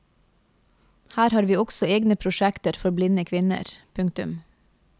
Her har vi også egne prosjekter for blinde kvinner. punktum